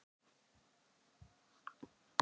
Valentínus, hvaða leikir eru í kvöld?